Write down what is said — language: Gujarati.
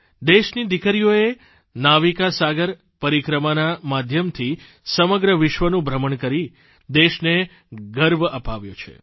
દેશની દીકરીઓએ નાવિકા સાગર પરિક્રમાના માધ્યમથી સમગ્ર વિશ્વનું ભ્રમણ કરી દેશને ગર્વ અપાવ્યો છે